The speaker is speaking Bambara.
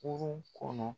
Kurun kɔnɔ